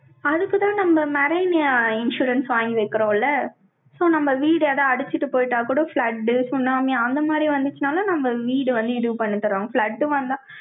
அதுக்குத்தான், நம்ம மெரீனி insurance வாங்கி வைக்கிறோம்ல? so, நம்ம வீடு எதாவது அடிச்சிட்டு போயிட்டா கூட, flood சுனாமி, அந்த மாதிரி வந்துச்சுன்னாலும், நம்ம வீடு வந்து, இது பண்ணித் தர்றோம். flood வந்தா,